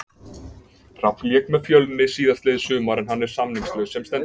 Hrafn lék með Fjölni síðastliðið sumar en hann er samningslaus sem stendur.